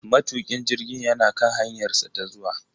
Matukin jirgin yana kan hanyarsa ta zuwa.